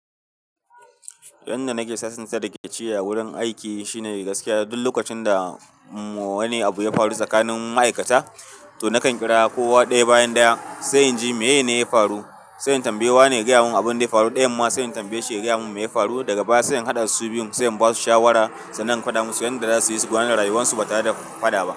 Yanda nake sasansa da ƙyaciye a wurin aiki shine gaskiya duk lokacin da wani abu ya faru tsakanin ma'aikata, to nakan kira kowa ɗaya bayan ɗaya se in ji me yene ya faru. Se in tambayi wane ya gaya mun abin da ya faru ɗayan ma se in tambaye shi ya gaya mun me ya faru daga baya. Se in haɗa su biyun se in ba su shawara sanan in faɗa musu yanda za su yi su gane rayuwarsu ba tare da faɗa ba.